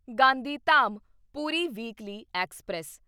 Gandhidham Puri weekly express